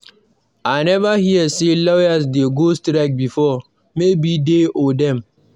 I never hear say lawyers dey go strike before. Maybe dey or dem.